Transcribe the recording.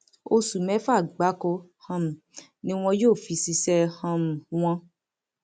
oṣù mẹfà gbáko um ni wọn yóò fi ṣiṣẹ um wọn